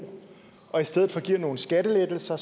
og i stedet for giver nogle skattelettelser